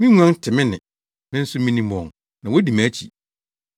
Me nguan te me nne, me nso minim wɔn na wodi mʼakyi.